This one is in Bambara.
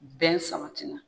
Bɛn